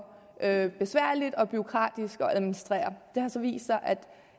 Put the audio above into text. at besværligt og bureaukratisk at administrere det har så vist sig at